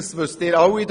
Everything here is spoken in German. Sie wissen das alle.